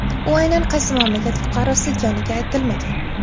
U aynan qaysi mamlakat fuqarosi ekanligi aytilmagan.